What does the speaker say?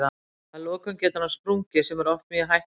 Að lokum getur hann sprungið sem er oft mjög hættulegt.